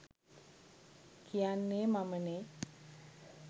කියන්නේ මමනේ.